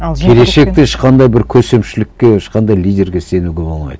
келешекте ешқандай бір көсемшілікке ешқандай лидерге сенуге болмайды